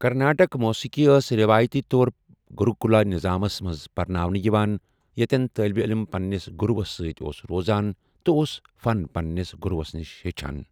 کرناٹک موسیقی ٲسۍ رِوایتی طور گروکلا نظامَس منٛز پرناونہٕ یِوان، یتٮ۪ن طالبہِ علم پننِس گروَس سۭتۍ اوس روزان تہٕ اوس فن پننِس گروَس نِش ہچھان۔